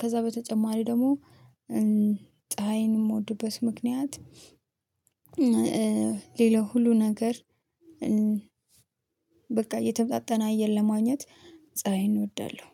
ከዛ በተጨማሪ ደግሞ ፀሀይን የምወድበት ምክንያት። ሌላው ሁሉ ነገር በቃ የተመጣጠነ አየር ለማግኘት ፀሀይን እወዳለሁ።